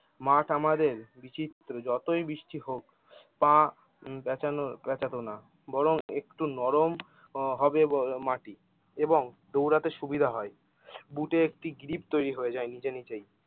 মাঠ আমাদের বিচিএ যতই বৃষ্টি হোক তা প্যাচানো প্যাচাতো না। বরং একটু নরম উম হবেই মাঠি এবং দৌড়াতে সুবিধা হয় বুটে একটি গ্রিপ তৈরি হয়ে যায় নিজে নিজেই।